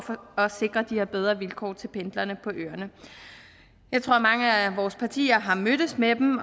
at sikre de her bedre vilkår til pendlerne på øerne jeg tror mange af vores partier har mødtes med dem